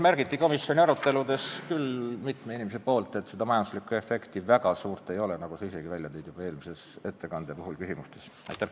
Samas märkis mitu inimest komisjoni aruteludes, et majanduslikku efekti väga suurt ei ole, nagu sa ka ise eelmise ettekande küsimuste puhul ütlesid.